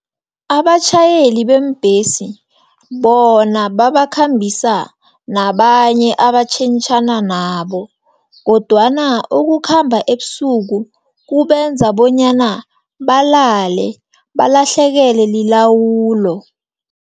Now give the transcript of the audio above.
Abatjhayeli beembhesi, bona babakhambisa nabanye abatjhentjhana nabo, kodwana ukukhamba ebusuku, kubenza bonyana balale, balahlekelwe lilawulo.